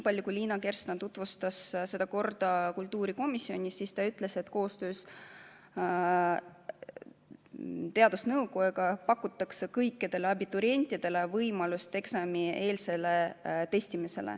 Aga kui Liina Kersna tutvustas seda korda kultuurikomisjonis, siis ta ütles, et koostöös teadusnõukojaga pakutakse kõikidele abiturientidele võimalust eksamieelseks testimiseks.